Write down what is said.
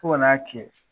Fo ka n'a kɛ